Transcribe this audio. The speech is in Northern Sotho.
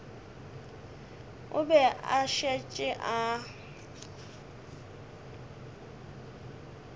o be a šetše a